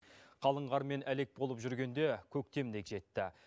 қалың қармен әлек болып жүргенде көктем де жетті